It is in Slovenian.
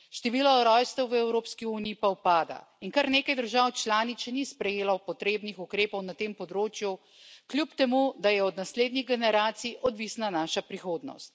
Število rojstev v Evropski uniji pa upada in kar nekaj držav članic še ni sprejelo potrebnih ukrepov na tem področju, kljub temu da je od naslednjih generacij odvisna naša prihodnost.